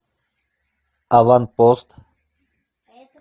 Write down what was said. аванпост